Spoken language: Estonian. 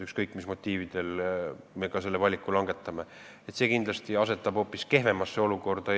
Ükskõik, mis motiividel me ka selle valiku langetaksime, see kindlasti asetaks Eesti ettevõtjad hoopis kehvemasse olukorda.